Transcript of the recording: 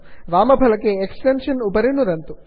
वामफलके extensions उपरि नुदन्तु